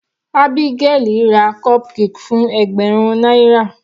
Abigael ra cupcake fún ẹgbẹ̀rún náírà.